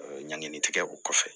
Ɲanginin tigɛ o kɔfɛ